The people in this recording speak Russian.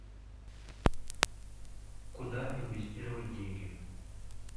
куда инвестировать деньги